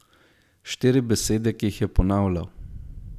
Štiri besede, ki jih je ponavljal.